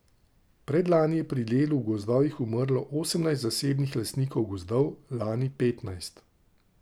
Predlani je pri delu v gozdovih umrlo osemnajst zasebnih lastnikov gozdov, lani petnajst...